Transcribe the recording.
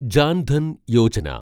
Jan Dhan Yojana